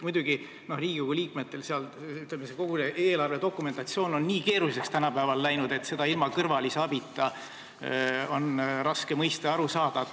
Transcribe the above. Muidugi, kogu see eelarve dokumentatsioon on tänapäeval nii keeruliseks läinud, et seda on Riigikogu liikmel ilma kõrvalise abita raske mõista ja sellest aru saada.